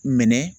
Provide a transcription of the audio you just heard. Minɛ